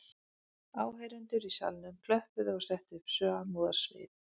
Áheyrendur í salnum klöppuðu og settu upp samúðarsvip